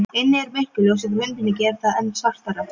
Inni er myrkur, ljósið frá hundinum gerir það enn svartara.